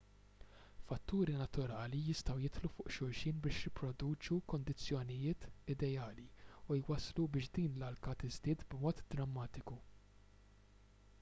fatturi naturali jistgħu jidħlu fuq xulxin biex jipproduċu kundizzjonijiet ideali u jwasslu biex din l-alka tiżdied b'mod drammatiku